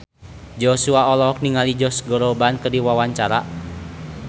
Joshua olohok ningali Josh Groban keur diwawancara